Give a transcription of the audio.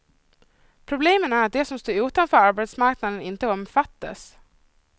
Problemet är att de som står utanför arbetsmarknaden inte omfattas.